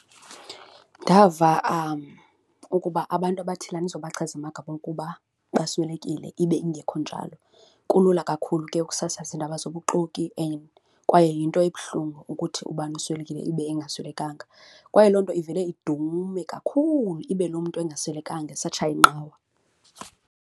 Ndava ukuba abantu abathile, andizubachaza amagama, ukuba baswelekile ibe ingekho njalo. Kulula kakhulu ke kusasaza iindaba zobuxoki and kwaye yinto ebuhlungu ukuthi ubani uswelekile ibe engaswelekanga kwaye loo nto ivele idume kakhulu ibe loo mntu engaswelekanga esatshaya inqawa.